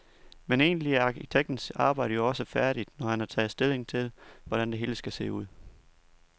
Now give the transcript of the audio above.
Men egentlig er arkitektens arbejde jo også færdigt, når han har taget stilling til, hvordan det hele skal se ud.